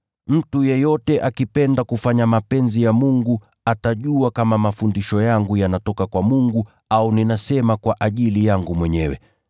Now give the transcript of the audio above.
Mtu yeyote akipenda kufanya mapenzi ya Mungu, atajua kama mafundisho yangu yanatoka kwa Mungu au ninasema kwa ajili yangu mwenyewe.